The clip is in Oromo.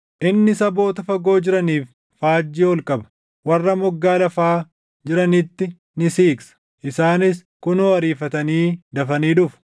Inni saboota fagoo jiraniif faajjii ol qaba; warra moggaa lafaa jiranitti ni siiqsa. Isaanis kunoo ariifatanii dafanii dhufu.